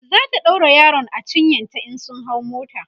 zata ɗaura yaron a cinyanta in sun hau mota